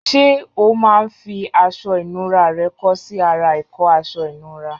Ṣé o máa ń fi aṣọ ìnura rẹ kọ́ sí ara ìkọ́ aṣọ ìnura?